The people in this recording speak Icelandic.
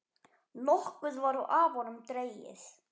Nokkuð var af honum dregið.